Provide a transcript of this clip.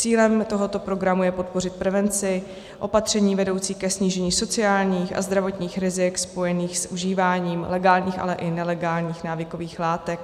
Cílem tohoto programu je podpořit prevenci opatření vedoucích ke snížení sociálních a zdravotních rizik spojených s užíváním legálních, ale i nelegálních návykových látek.